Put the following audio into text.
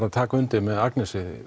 að taka undir með Agnesi